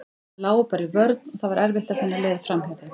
Þær lágu bara í vörn og það var erfitt að finna leið framhjá þeim.